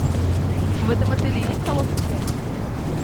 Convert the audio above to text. в этом отеле есть салоны связи